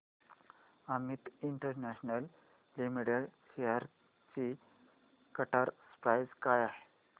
Amit international limited shares ची current price काय आहे